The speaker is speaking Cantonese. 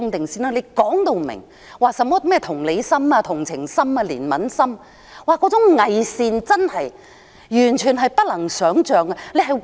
說甚麼同理心、同情心、憐憫心，那種偽善完全是不能想象的。